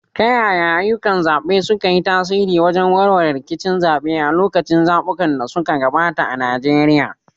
Ta yaya ayyukan zaɓe suka yi tasiri wajen warware rikicin zaɓe a lokacin zaɓukan da suka gabata a Najeriya?